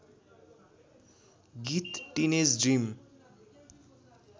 गीत teenage dream